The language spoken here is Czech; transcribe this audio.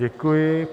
Děkuji.